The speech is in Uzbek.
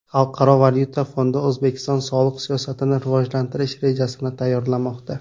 Xalqaro valyuta fondi O‘zbekiston soliq siyosatini rivojlantirish rejasini tayyorlamoqda.